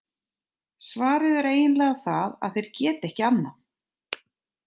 Svarið er eiginlega það að þeir geta ekki annað!